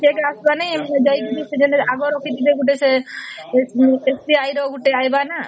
cheque ଟେ ଆସିବରେ ନାଇଁ ଯାଇକି ସେ ଆଗ ରଖିଥିବେ ଗୋଟେ ସେ SBI ର ଗୋଟେ ଆଇବ ନ